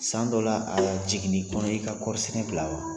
San dɔ la a jigin n'i kɔnɔ i ka kɔɔrisɛnɛ bila wa?